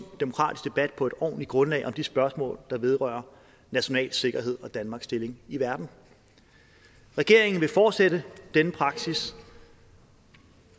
demokratisk debat på et ordentligt grundlag om de spørgsmål der vedrører national sikkerhed og danmarks stilling i verden regeringen vil fortsætte denne praksis